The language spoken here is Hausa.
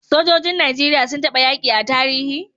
Sojojin nigeria sun taba yaki a tarihi?